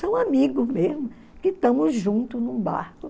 São amigos mesmo, que estamos juntos num barco.